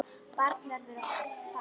Barnið verður að fara.